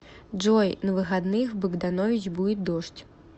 джой на выходных в богданович будет дождь